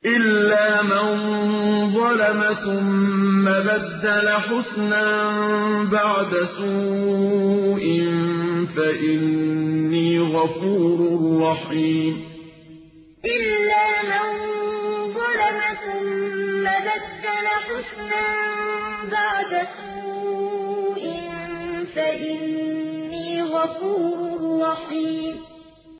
إِلَّا مَن ظَلَمَ ثُمَّ بَدَّلَ حُسْنًا بَعْدَ سُوءٍ فَإِنِّي غَفُورٌ رَّحِيمٌ إِلَّا مَن ظَلَمَ ثُمَّ بَدَّلَ حُسْنًا بَعْدَ سُوءٍ فَإِنِّي غَفُورٌ رَّحِيمٌ